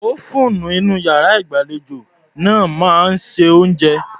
Ófúùnù inú iyàrá ìgbàlejò náà máa ń se oúnjẹ.